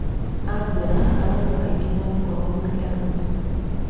Angera arauga aingĩ megũkorwo marĩ arũme.